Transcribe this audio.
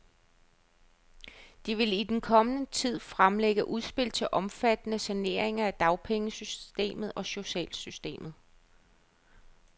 De vil i den kommende tid fremlægge udspil til omfattende saneringer af dagpengesystemet og socialsystemet.